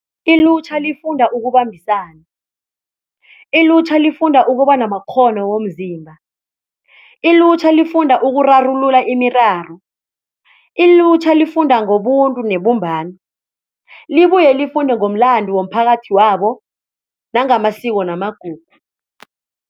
Ilutjha lifunda ukubambisana, ilutjha lifunda ukuba namakghono womzimba, ilutjha lifunda ukurarulula imiraro, ilutjha lifunda ngobuntu nebumbano, libuye lifunde ngokumlando womphakathi wabo ngamasiko namagugu.